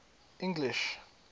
english